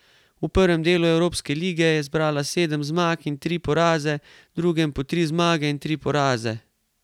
V prvem delu evropske lige je zbrala sedem zmag in tri poraze, v drugem po tri zmage in tri poraze.